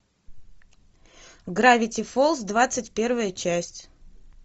гравити фолз двадцать первая часть